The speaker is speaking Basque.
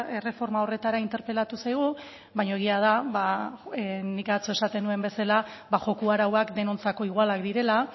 erreforma horretara interpelatu zaigu baina egia da ba nik atzo esaten nuen bezala ba joko arauak denontzat igualak direla